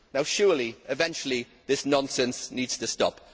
Surely, eventually, this nonsense needs to stop.